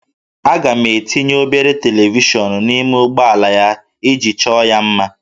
Aga m etinye obere televishọnụ n'ime ụgbọala ya iji chọọ ya mma